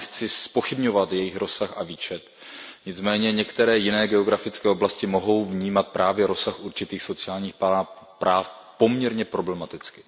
Já nechci zpochybňovat jejich rozsah a výčet, nicméně některé jiné geografické oblasti mohou vnímat rozsah určitých sociálních práv poměrně problematicky.